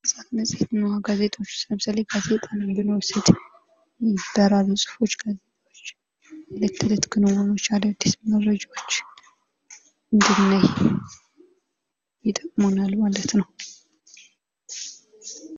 መጽሄት እና ጋዜጣዎች ለምሳሌ ጋዜጣን ብንወስድ በራሪ ጽሁፎች የለት ተለት ክንውኖች አዳዲስ መረጃዎች እንድናይ ይጠቅሙናል ማለት ነው።